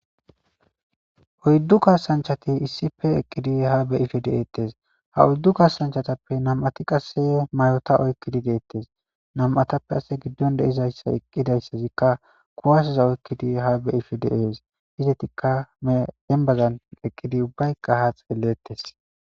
4 kasanchat issi bolla eqid ya ha be'ishe detes. Ha 4 kasanchatappe 2 ti qase mayota oykid detes. Nam'atappe qase gidon eqidays kuwaseza kushen oykid ya ha beyishe Des. Izetika dembazan eqid ubbatika ha xeletes.